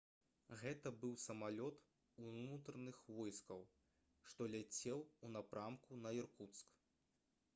гэта быў самалёт унутраных войскаў што ляцеў у напрамку на іркуцк